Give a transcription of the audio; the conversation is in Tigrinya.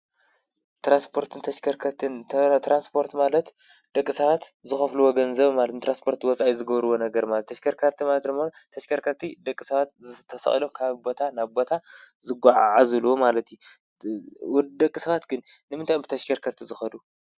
ትራንስፖርን ተሽከርከርትን፣ ትራንስፖርት ማለት ደቂ ሰባት ዝከፍልዎ ገንዘብ ማለት እዩ ። ንትራንፖርት ወፃኢ ዝገብርዎ ነገር ማለት እዩ። ተሽከርከርቲ ማለት ደሞ ተሽከርከርቲ ደቂ ሰባት ተሰቂሎም ካብ ቦታ ናብ ቦታ ዝጓዓዓዝሉ ማለት እዩ። ደቂ ሰባት ግን ንምታይ እዮም ብተሽከርከርቲ ዝከዱ?